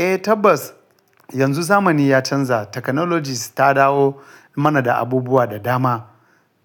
Eh tabbas yanzu zamani ya canza technologies ta dawo mana da abubuwa da dama.